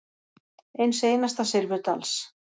Eins einasta silfurdals.